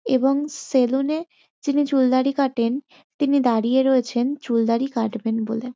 এবং সেলুন -এ যিনি চুলদাড়ি কাটেন তিনি দাড়িয়ে রয়েছেন চুলদাড়ি কাটবেন বলে।